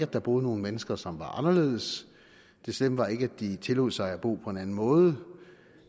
der boede nogle mennesker som var anderledes det slemme var ikke at de tillod sig at bo på en anden måde